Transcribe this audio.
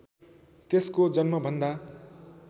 त्यसको जन्मभन्दा